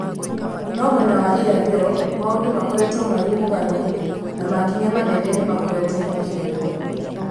No mwena wa irathĩro maũndũ makoretwo marĩ mũgarũ na makinya manene nĩmakoretwo makĩoywo